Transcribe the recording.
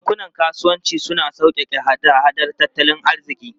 Bankunan kasuwanci suna sauƙaƙe hada-hadar tattalin arziki.